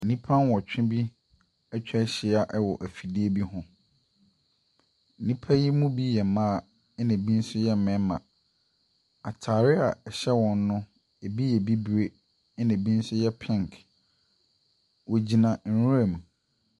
Nnipa nwɔtwe bi atwa ahyi a wɔ efidie bi ho. Nnipa yi mu bi yɛ mmaa, ɛna ɛbi nso yɛ mmarima. Ataare a ɛhyɛ wɔn no, ɛbi yɛ bibire, ɛna ɛbi nso yɛ pink. Wogyina nwura mu.